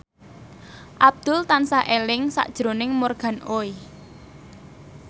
Abdul tansah eling sakjroning Morgan Oey